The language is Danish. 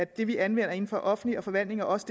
det vi anvender inden for den offentlige forvaltninger også